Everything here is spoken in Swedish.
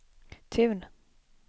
Tun